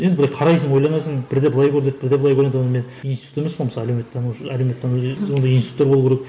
енді бір қарайсың ойланасың бірде былай көрінеді бірде былай көрінеді оны мен институт емеспін ғой мысалы әлеуметтанушы әлеумет тану ондай институттар болуы керек